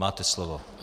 Máte slovo.